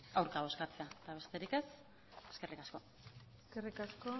aurka bozkatzea besterik ez eskerrik asko eskerrik asko